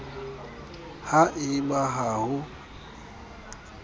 ha e ba ha ho